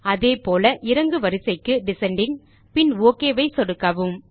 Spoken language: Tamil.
அதேபோல இறங்கு வரிசைக்கு டிசெண்டிங் பின் ஒக் பட்டன் ஐ சொடுக்கவும்